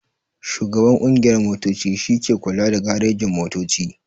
Shugaban ƙungiyar motoci shi ke kula da garejin-motoci.